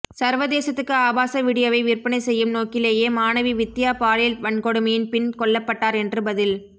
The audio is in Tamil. சர்வதேசத்துக்கு ஆபாச வீடியோவை விற்பனை செய்யும் நோக்கிலேயே மாணவி வித்தியா பாலியல் வன்கொடுமையின் பின் கொல்லப்பட்டார் என்று பதில்